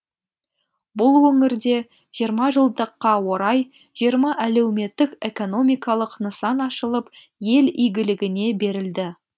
бұл өңірде жиырма жылдыққа орай жиырма әлеуметтік экономикалық нысан ашылып ел игілігіне берілді